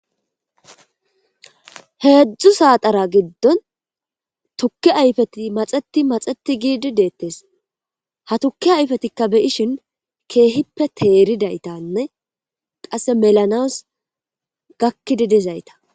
heedzdzu saatara giddon tukki ayfeti maxeti maxeti giidi deettes ha tukki ayfetikka beyishin keehippe teeridaytanne qasse melanas gakkidi dizayta